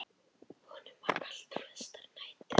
Honum var kalt flestar nætur.